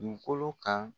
Dugukolo kan